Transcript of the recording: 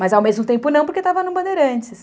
Mas, ao mesmo tempo, não, porque estava no Bandeirantes.